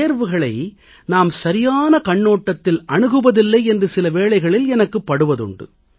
தேர்வுகளை நாம் சரியான கண்ணோட்டத்தில் அணுகுவதில்லை என்று சில வேளைகளில் எனக்குப் படுவதுண்டு